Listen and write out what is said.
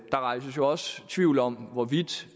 der rejses jo også tvivl om hvorvidt